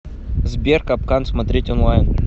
сбер капкан смотреть онлайн